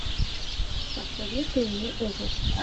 посоветуй мне ужасы